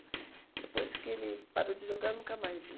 Depois que ele parou de jogar, nunca mais vi.